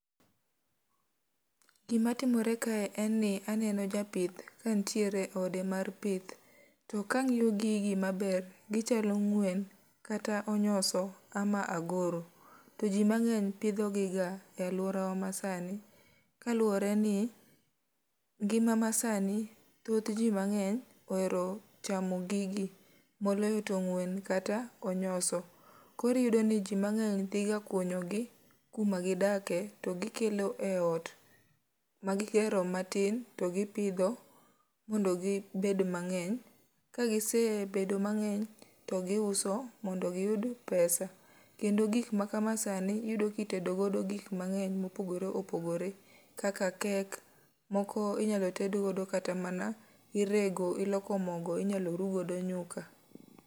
Gima timore kae en ni aneno japith ka nitiere e ode mar pith. To ka angíyo gigi maber, gichalo ng'wen, kata onyoso, ama agoro. To ji mangény pidhogiga e alwora wa masani. Ka luwore ni ngima masani, thoth ji mangény ohero chamo gigi. Moloyo to ng'wen kata onyoso. Koro iyudo ni ji mangény dhi ga kunyogi kuma gidake, to gi kelo e ot ma gigero matin, to gipidho mondo gibed mangény. Ka gisebedo mangény, to giuso mondo giyud pesa. Kendo gik ma kama sani, iyudo ka itedo godo gik mangény, mopogore opogore kaka kek, moko inyalo ted godo kata mana, irego, iloko mogo, inyalo ru godo nyuka.